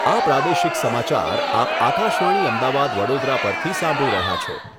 આ પ્રાદેશિક સમાચાર આપ આકાશવાણી અમદાવાદ વડોદરા પરથી સાંભળી રહ્યા છો